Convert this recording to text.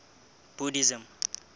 buddhism